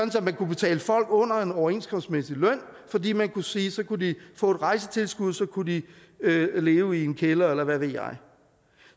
at man kunne betale folk under en overenskomstmæssig løn fordi man kunne sige at så kunne de få et rejsetilskud og så kunne de leve i en kælder eller hvad ved jeg